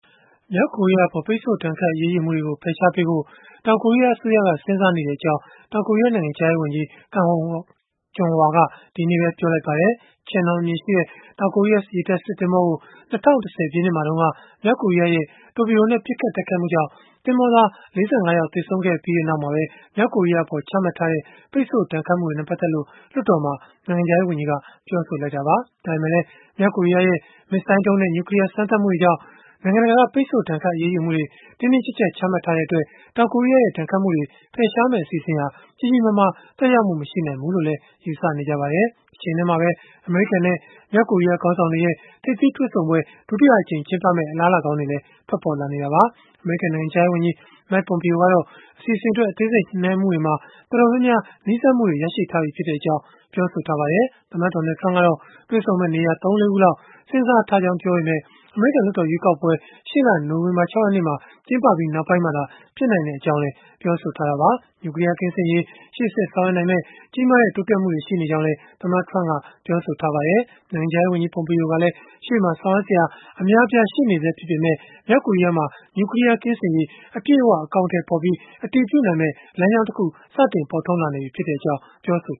မြောက်ကိုရီးယားအပေါ် ပိတ်ဆို့ဒဏ်ခတ် အရေးယူမှုတွေကို ဖယ်ရှားပေးဖို့ တောင်ကိုရီးယားအစိုးရက စဉ်းစားနေကြောင်း တောင်ကိုရီးယား နိုင်ငံခြားရေးဝန်ကြီး Kang Kyung-wha က ဒီနေ့ပဲ ပြောလိုက်ပါတယ်။ Cheonan အမည်ရှိ တောင်ကိုရီးယား ရေတပ်စစ်သင်္ဘောကို ၂၀၁၀ ပြည့်နှစ်မှာတုန်းက မြောက်ကိုရီးယားရဲ့ တော်ပီဒိုနဲ့ ပစ်ခတ်တိုက်ခိုက်မှုကြောင့် သင်္ဘောသား ၄၅ ယောက် သေဆုံးခဲ့ရပြီးနောက် မြောက်ကိုရီးယားအပေါ် ချမှတ်ထားတဲ့ ပိတ်ဆို့ဒဏ်ခတ်မှုတွေနဲ့ ပတ်သက်လို့ လွှတ်တော်မှာ နိုင်ငံခြားရေးဝန်ကြီးက ပြောဆိုလိုက်တာပါ။ ဒါပေမဲ့လည်း မြောက်ကိုရီးယားရဲ့ မစ်ဇိုင်းဒုံးနဲ့ နျူကလီးယား စမ်းသပ်မှုတွေကြောင့် နိုင်ငံတကာက ပိတ်ဆို့ဒဏ်ခတ် အရေးယူမှုတွေ တင်းတင်းကျပ်ကျပ် ချမှတ်ထားတဲ့အတွက် တောင်ကိုရီးယားရဲ့ ဒဏ်ခတ်မှုတွေ ဖယ်ရှားမယ့် အစီအစဉ်ဟာ ကြီးကြီးမားမား သက်ရောက်မှု မရှိနိုင်ဘူးလို့လည်း ယူဆထားကြပါတယ်။ တချိန်တည်းမှာပဲ အမေရိကန်နဲ့ မြောက်ကိုရီးယား ခေါင်းဆောင်တွေရဲ့ ထိပ်သီးတွေ့ဆုံပွဲ ဒုတိယအကြိမ် ကျင်းပမယ့် အလားအလာကောင်းတွေလည်း ထွက်ပေါ်လာနေတာပါ။ အမေရိကန် နိုင်ငံခြားရေးဝန်ကြီး Mike Pompeo ကတော့ အစီအစဉ်အတွက် အသေးစိတ် ညှိနှိုင်းမှုတွေမှာ တော်တော်များများ နီးစပ်မှုရထားတဲ့အကြောင်း ပြောဆိုထားပါတယ်။ သမ္မတ Donald Trump ကတော့ တွေ့ဆုံမယ့် နေရာ ၃-၄ ခုလောက်ကို စဉ်းစားထားကြောင်း ပြောပေမဲ့ အမေရိကန် လွှတ်တော်ရွေးကောက်ပွဲတွေ ရှေ့လ နိုဝင်ဘာလ ၆ ရက်နေ့မှာ ကျင်းပပြီး နောက်ပိုင်းမှသာ ဖြစ်နိုင်ကြောင်းလည်း ပြောဆိုထားတာပါ။ နျူကလီးယား ကင်းစင်ရေး ရှေ့ဆက်ဆောင်ရွက်နိုင်မယ့် ကြီးမားတဲ့ တိုးတက်မှုတွေ ရှိနေကြောင်းလည်း သမ္မတ Trump က ပြောခဲ့ပါတယ်။ နိုင်ငံခြားရေးဝန်ကြီး Pompeo ကလည်း ရှေ့မှာ ဆောင်ရွက်စရာ အများအပြား ရှိနေဆဲ ဖြစ်ပေမဲ့၊ မြောက်ကိုရီးယားမှာ နျူကလီးယား ကင်းစင်ရေး အပြည့်အ၀ အကောင်အထည်ဖော်၊ အတည်ပြုနိုင်မယ့် လမ်းကြောင်းတခု ပေါ်ထွန်းလာနေပြီဖြစ်ကြောင်း ပြောဆို